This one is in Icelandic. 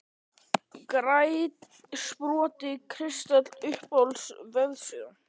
Grænn sport kristall Uppáhalds vefsíða?